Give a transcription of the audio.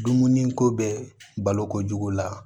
Dumuni ko bɛ balo kojugu la